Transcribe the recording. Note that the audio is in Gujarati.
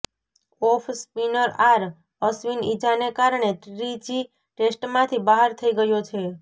ઓફ સ્પિનર આર અશ્વિન ઈજાને કારણે ત્રીજી ટેસ્ટમાંથી બહાર થઈ ગયો છે